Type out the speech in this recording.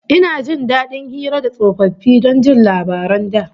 Ina jin dadin hira da tsofaffi don jin labaran da